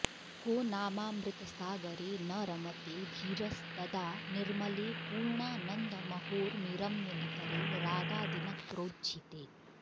को नामामृतसागरे न रमते धीरस्तदा निर्मले पूर्णानन्दमहोर्मिरम्यनिकरे रागादिनक्रोज्झिते